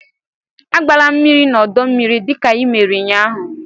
agbala mmiri n'ọdọ mmiri, dịka ị mere ụnyaahụ!